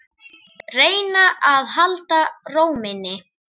Reyna að halda ró minni.